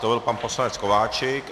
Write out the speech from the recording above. To byl pan poslanec Kováčik.